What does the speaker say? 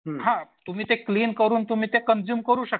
हां तुम्ही ते क्लीन करून तुम्ही ते कंझ्युम करू शकता.